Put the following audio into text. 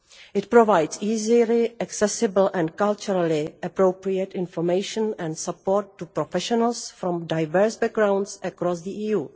It provides easily-accessible and culturally-appropriate information and support to professionals from diverse backgrounds across the EU.